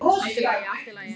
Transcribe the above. Allt í lagi, allt í lagi.